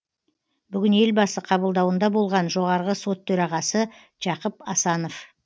бүгін елбасы қабылдауында болған жоғарғы сот төрағасы жақып асанов